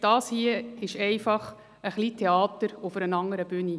Das hier ist einfach ein wenig Theater auf einer anderen Bühne.